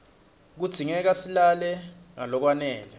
kudzingeka silale ngalokwanele